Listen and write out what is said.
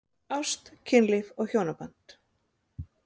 Ást, kynlíf og hjónaband